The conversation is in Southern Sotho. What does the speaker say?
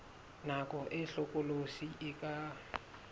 nako e hlokolosi e ka